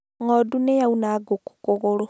Ng'ondu nĩ yauna ngũkũ kũgũrũ